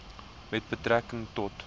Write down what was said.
met betrekking tot